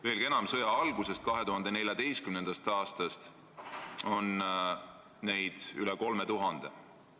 Veelgi enam, sõja algusest, 2014. aastast saadik on surmasaanuid üle 3000.